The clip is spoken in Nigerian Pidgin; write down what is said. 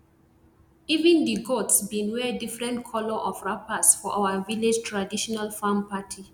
even di goats bin wear different colour of wrappers for our village traditional farm party